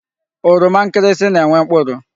Oroma nkirisi na-enwe mkpụrụ.